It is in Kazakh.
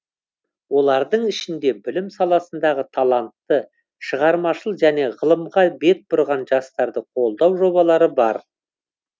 олардың ішінде білім саласындағы талантты шығармашыл және ғылымға бет бұрған жастарды қолдау жобалары бар